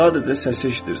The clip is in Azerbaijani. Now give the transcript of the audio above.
Sadəcə səsi eşidirsən.